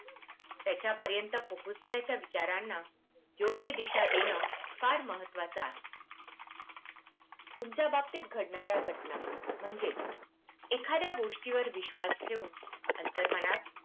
त्याच्या पर्यंत पोहोचण्याच्या विचारांना योग्य दिशा देणं फार महत्वाच आहे तुमच्या बाबतीत घडणार्या घटना म्हणजे एखाद्या गोष्टी वर विश्वास ठेऊन अंतर्मनात